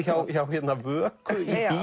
hjá Vöku